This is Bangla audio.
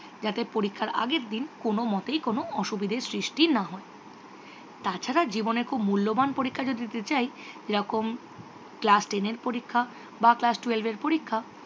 জাতে পরীক্ষার আগের দিন কোনও মতেই কোনও অসুবিধার সৃষ্টি না হয়। তাছাড়া জীবনে খুব মুল্যবান পরীক্ষা যদি দিতে চাই যেরকম class ten এর পরীক্ষা বা class twelve এর পরীক্ষা